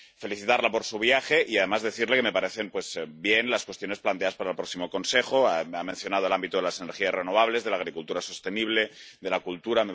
La felicito por su viaje y, además, quiero decirle que me parecen bien las cuestiones planteadas para el próximo Consejo. Ha mencionado el ámbito de las energías renovables, de la agricultura sostenible y de la cultura.